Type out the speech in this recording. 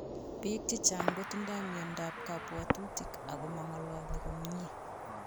Piik chechang kotindoi miondap kapwatutik ak mangalali komnye